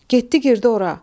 Getdi girdi ora.